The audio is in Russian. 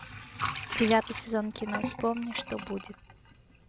девятый сезон кино вспомни что будет